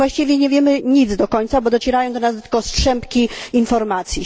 Właściwie nie wiemy nic do końca, bo docierają do nas tylko strzępki informacji.